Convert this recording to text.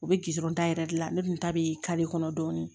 U bɛ gidɔrɔn ta yɛrɛ de la ne dun ta bɛ kare kɔnɔ dɔɔnin